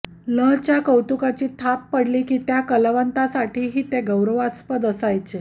लं च्या कौतुकाची थाप पडली की त्या कलावंतासाठीही ते गौरवास्पद असायचे